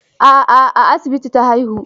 A'a, a asibiti ta haihu.